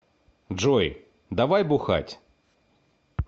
джой давай бухать